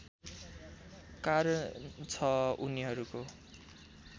कारण छ उनीहरूको